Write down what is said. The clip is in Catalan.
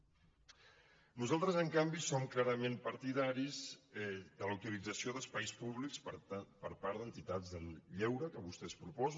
nosaltres en canvi som clarament partidaris de la utilització d’espais públics per part d’entitats del lleure que vostès proposen